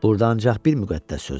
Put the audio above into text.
Burda ancaq bir müqəddəs söz var.